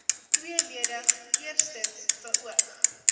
tweeledig eerstens beoog